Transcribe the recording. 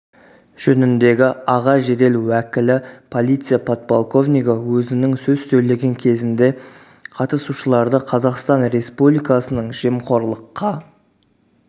жөніндегі аға жедел уәкілі полиция подполковнигі өзінің сөз сөйлеген кезінде қатысушыларды қазақстан республикасының жемқорлыққа